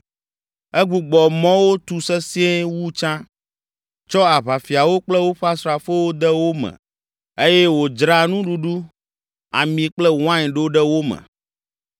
Egbugbɔ mɔwo tu sesĩe wu tsã, tsɔ aʋafiawo kple woƒe asrafowo de wo me eye wòdzra nuɖuɖu, ami kple wain ɖo ɖe wo me.